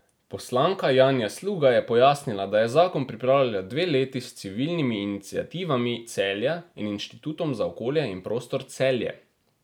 Poslanka Janja Sluga je pojasnila, da je zakon pripravljala dve leti s Civilnimi iniciativami Celja in Inštitutom za okolje in prostor Celje.